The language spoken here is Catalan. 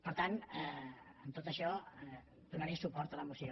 per tant amb tot això donaré suport a la moció